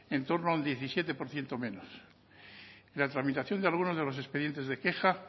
en torno al diecisiete por ciento menos en la tramitación de algunos de los expedientes de queja